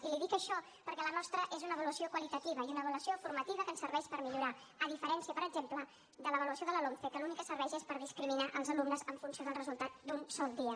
i li dic això perquè la nostra és una avaluació qualitativa i una avaluació formativa que ens serveix per millorar a diferència per exemple de l’avaluació de la lomce que l’únic que serveix és per discriminar els alumnes en funció del resultat d’un sol dia